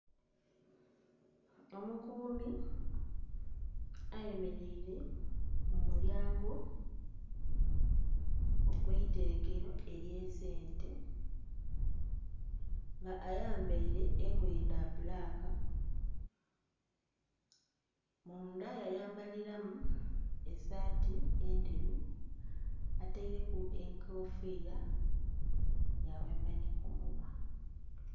Omukuumi ayemeleire mu mulyango ogw'eiterekero ely'esente nga ayambaire engoye dha bbulaaka, munda yayambaliramu esaati endheru, ataireku enkofiira yaghemba ni ku munhwa.